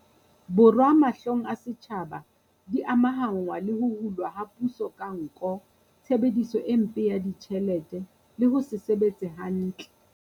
Borwa, mahlong a setjhaba, di amahanngwa le ho hulwa ha puso ka nko, tshebediso e mpe ya ditjhelete le ho se sebetse hantle.